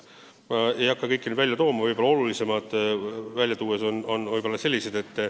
Ma ei hakka kõiki neid välja tooma, räägin olulisematest.